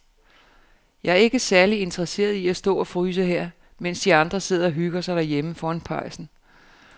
Jeg er ikke særlig interesseret i at stå og fryse her, mens de andre sidder og hygger sig derhjemme foran pejsen.